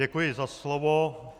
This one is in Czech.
Děkuji za slovo.